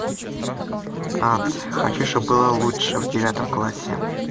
ад хочу чтобы было лучше в девятом классе